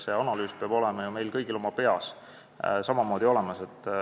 See analüüs peab olema ju meil kõigil oma peas samamoodi olemas.